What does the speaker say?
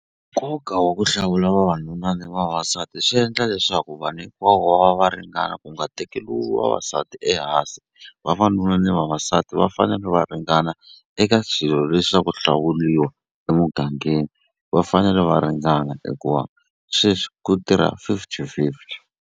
Nkoka wa ku hlawula vavanuna ni vavasati swi endla leswaku vanhu hinkwavo va va va ringana ku nga tekeriwi vavasati ehansi. Vavanuna na vavasati va fanele va ringana eka swilo leswi swa ku hlawuriwa emugangeni va fanele va ringana hikuva sweswi ku tirha fifty fifty.